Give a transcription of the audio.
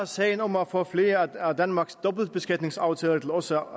sagen om at få flere af danmarks dobbeltbeskatningsaftaler til også